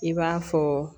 I b'a fɔ